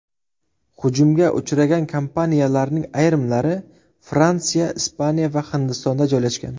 Hujumga uchragan kompaniyalarning ayrimlari Fransiya, Ispaniya va Hindistonda joylashgan.